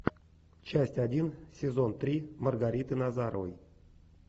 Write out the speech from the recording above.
часть один сезон три маргариты назаровой